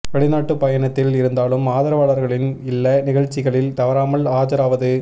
வெளிநாட்டு பயணத்தில் இருந்தாலும் ஆதரவாளர்களின் இல்ல நிகழ்ச்சிகளில் தவறாமல் ஆஜராவது